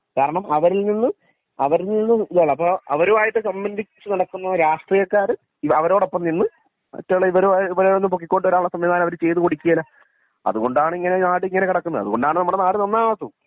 കാരണം അവരിൽ നിന്ന് ഇതാണ് അപ്പൊ അവരുമായിട്ട് സംബന്ധിച്ചു നടക്കുന്ന രാഷ്ട്രീയക്കാര് അവരോടൊപ്പം നിന്ന് മറ്റുള്ള ഇവരെ ഇവരെ ഒന്ന് പൊക്കിക്കൊണ്ട് വരാൻ ഉള്ള സംവിധാനം അവര് ചെയ്തു കൊടുകേല അതുകൊണ്ടാണ് ഇങ്ങനെ നാട് ഇങ്ങനെ കെടക്കുന്നെ അതുകൊണ്ടാണല്ലോ നമ്മുടെ നാട് നാന്നാവാതെ